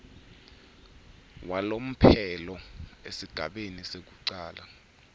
walomphelo esigabeni sekucala